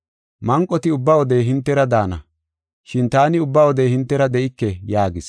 Manqoti ubba wode hintera daana, shin taani ubba wode hintera de7ike” yaagis.